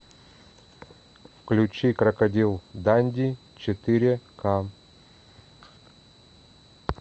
включи крокодил данди четыре ка